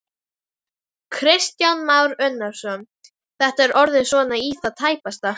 Kristján Már Unnarsson: Þetta er orðið svona í það tæpasta?